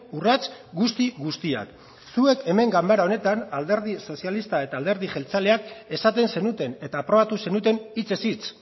urrats guzti guztiak zuek hemen ganbara honetan alderdi sozialista eta alderdi jeltzaleak esaten zenuten eta aprobatu zenuten hitzez hitz